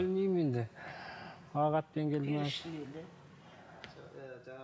білмеймі енді ақ атпен келді ме